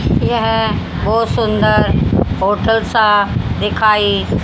यह बहोत सुंदर होटल सा दिखाई--